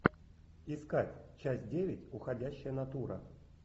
искать часть девять уходящая натура